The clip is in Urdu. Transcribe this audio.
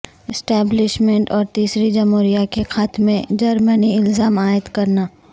اسٹیبلشمنٹ اور تیسری جمہوریہ کے خاتمے جرمنی الزام عائد کرنا